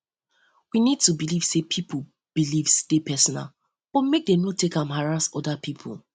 we need to know need to know sey pipo beliefs dey personal but make dem no take am harass oda pipo